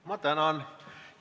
Ma tänan!